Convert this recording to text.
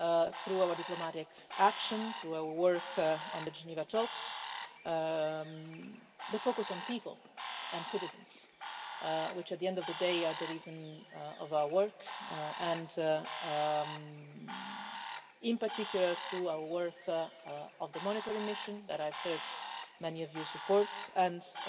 through our diplomatic action, through our work on the Geneva talks, the focus on people and citizens which, at the end of the day, are the reason for our work and, in particular, through our work in the monitoring mission, that I have heard many of you support, and in